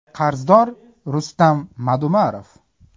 Qarzdor Rustam Madumarov.